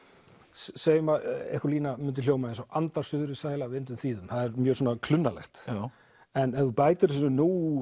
segjum að einhver lína myndi hljóma eins og andar suðrið sæla vindum þýðum það er mjög svona klunnalegt en ef þú bætir þessu nú